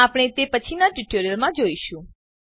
આપણે તે પછીનાં ટ્યુટોરીયલમાં જોઈશું